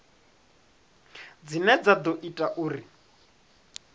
dzine dza ḓo ita uri